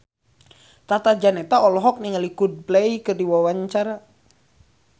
Tata Janeta olohok ningali Coldplay keur diwawancara